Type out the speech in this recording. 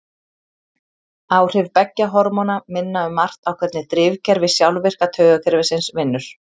Áhrif beggja hormóna minna um margt á hvernig drifkerfi sjálfvirka taugakerfisins vinnur.